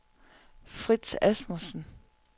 Frits Asmussen